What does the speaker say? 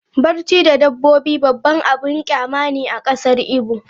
Barci da dabbobi babban abin kyama ne a kasar Igbo.